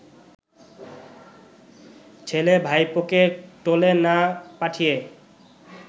ছেলে-ভাইপোকে টোলে না পাঠিয়ে